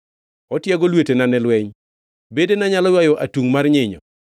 Otiego lwetena ne lweny; bedena nyalo ywayo atungʼ mar nyinyo.